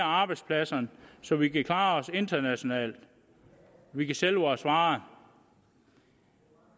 arbejdspladserne så vi kan klare os internationalt og vi kan sælge vores varer